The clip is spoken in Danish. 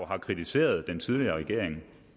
har kritiseret den tidligere regering